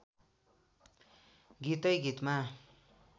गीतै गीतमा